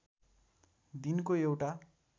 दिनको एउटा